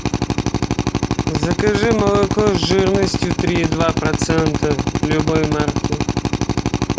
закажи молоко с жирностью три и два процента любой марки